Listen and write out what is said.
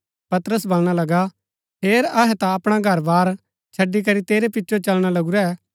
पतरस वलणा लगा हेर अहै ता अपणा घरबार छड़ी करी तेरै पिचो चलना लगुरै